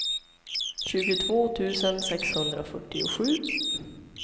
tjugotvå tusen sexhundrafyrtiosju